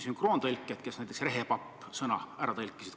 Sünkroontõlgid on näiteks sõna "rehepapp" ka ära tõlkinud.